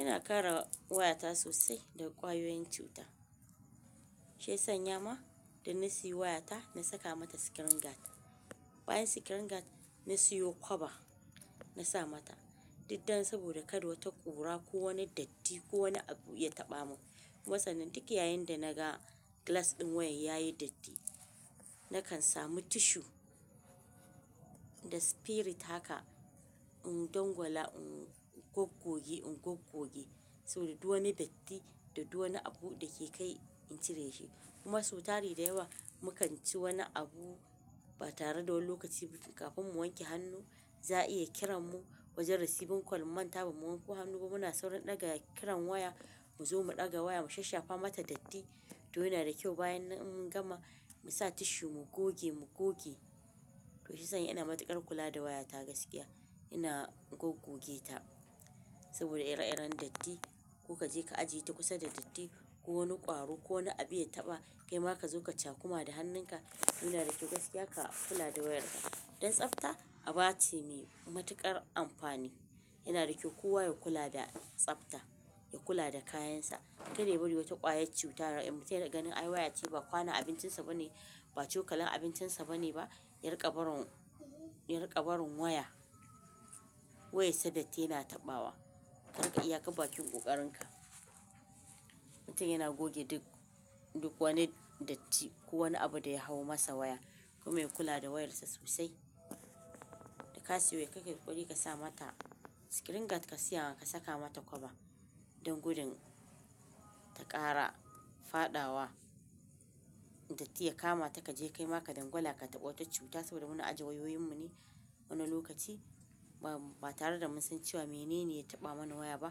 Ina kare wayata sosai daga ƙwayoyin cuta. Shi ya sanya ma da na sayi wayata na saka mata screen guard. Bayan screen guard na sayi cover na sa mata. Dukdan saboda kada wata ƙura ko wani datti ko wani abu ya taɓa mu. Matsa nan duk yayin da naga glass ɗin wayar yayi datti, nakan samu tissue da spirit haka in dangwala, in goggoge, in goggoge. Saboda duk wani datti da duk wani abu da ke kai in cire shi. Kuma su tari da yawa muka ci wani abu ba tare da wani lokaci kafin mu wanke hannu, za a iya kiran mu wajen receiving call mu manta ba mu wanke hannu ba muna sauron ɗaga kiran waya mu zo mu ɗaga wayar mu shashafa mata datti. To yana da kyau bayan in gama mu sa tissue mu goge mu goge. To shi ya sanya ina matuƙar kula da wayata gaskiya. Ina goggoge ta saboda ire-iren datti. Ko ka je ka ajiye ta kusa da datti ko wani ƙwaro ko wani abu ya taɓa, kaima ka zo ka cakuma da hannunka. Yana da kyau gaskiya ka kula da wayarka. Don tsafta, aba ce ne matuƙar amfani. Yana da kyau kowa ya kula da tsafta, ya kula da kayansa. Kada ya bari wata ƙwayar cuta ta ɓata daga ganin ai wayarta ba kwana abincinsa bane, ba cokalin abincinsa bane ba, ya riƙa barin, ya riƙa barin waya. Wayarsa datti yana taɓawa. Haka iyaka bakin ƙoƙarinka. Mutum yana goge duk, duk wani datti ko wani abu da ya hau masa waya. Kuma yana kula da wayarsa sosai. Da ka siya wayar kayi ƙokari ka sa mata screen guard ka siya ka saka mata cover. Don gudun ta ƙara faɗawa datti ya kama ta kaje kaima ka dangwala ka taɓa wata cuta saboda muna ajiye wayoyinmu ne wani lokaci ba tare da mun san cewa menene ya taɓa mana waya ba,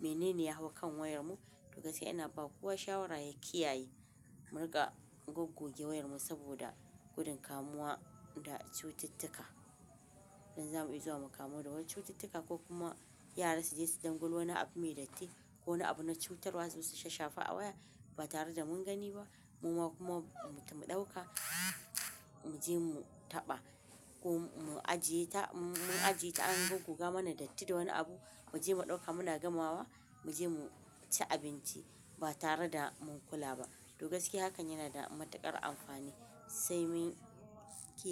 menene ya hau kan wayarmu. To gaskiya ina ba kowa shawara ya kiyaye muriƙa goggoge wayarmu saboda gudun kamuwa da cututtuka. Don zamu iya zuwa mu kamu da wani cututtuka ko kuma yara su je su dangwal wani abu mai datti ko wani abu na cutarwa su shashafe a waya ba tare da mun gani ba. Muma kuma mu ɗauka, mu je mu taɓa ko mu ajiye ta, mun ajiye ta an goggoga mana datti da wani abu, mu je mu ɗauka muna gamawa mu je mu ci abinci ba tare da mun kula ba. To gaskiya hakan yana da matuƙar amfani sai mun kiyaye.